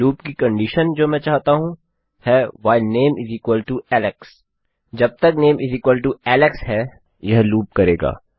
loop की condition जो मैं चाहता हूँ है व्हाइल थे नामे एलेक्स जब तक नेम एलेक्स है यह लूप करेगा